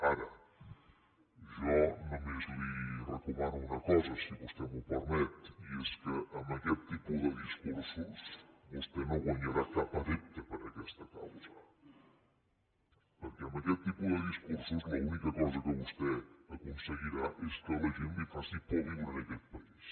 ara jo només li recomano una cosa si vostè m’ho permet i és que amb aquest tipus de discursos vostè no guanyarà cap adepte per a aquesta causa perquè amb aquest tipus de discursos l’única cosa que vostè aconseguirà és que a la gent li faci por viure en aquest país